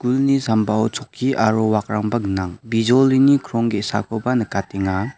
ulni sambao chokki aro wakrangba gnang bijolini krong ge·sakoba nikatenga.